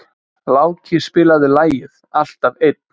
Láki, spilaðu lagið „Alltaf einn“.